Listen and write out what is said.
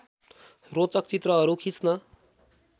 रोचक चित्रहरू खिच्न